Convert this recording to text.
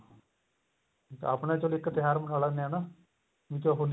ਆਪਣਾ ਚਲੋ ਇੱਕ ਤਿਉਹਾਰ ਮਨਾ ਲੈਨੇ ਆ ਨਾ ਵਿੱਚ ਹੋਲੀ